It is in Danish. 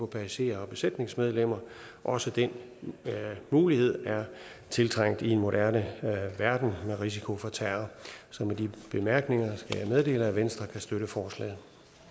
passagerer og besætningsmedlemmer også den mulighed er tiltrængt i en moderne verden med risiko for terror så med de bemærkninger skal jeg meddele at venstre kan støtte forslaget